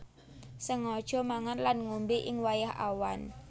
Sengaja mangan lan ngombé ing wayah awan